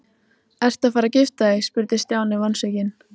Ertu að fara að gifta þig? spurði Stjáni vonsvikinn.